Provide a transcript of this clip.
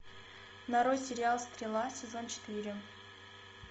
нарой сериал стрела сезон четыре